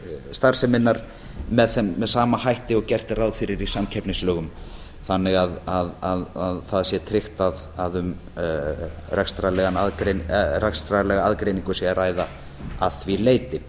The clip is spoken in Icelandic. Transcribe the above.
starfseminnar með sama hætti og gert er ráð fyrir í samkeppnislögum þannig að það sé tryggt að um rekstrarlega aðgreiningu sé að ræða að því leyti